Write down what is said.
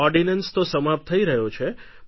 ordinance તો સમાપ્ત થઈ રહ્યો છે